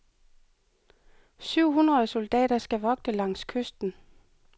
Syv hundrede soldater skal vogte langs kysten.